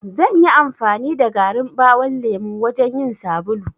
Zanyi amfani da garin ɓawon lemo wajan yin sabulu.